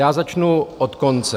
Já začnu od konce.